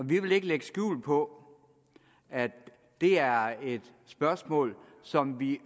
vi vil ikke lægge skjul på at det er et spørgsmål som vi